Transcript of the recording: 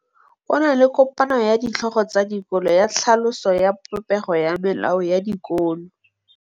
Go na le kopanô ya ditlhogo tsa dikolo ya tlhaloso ya popêgô ya melao ya dikolo.